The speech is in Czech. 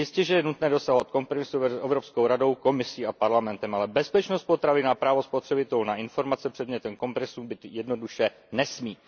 Jistěže je nutné dosahovat kompromisů mezi Evropskou radou, Komisí a Parlamentem, ale bezpečnost potravin a právo spotřebitelů na informace předmětem kompromisů být jednoduše nesmí.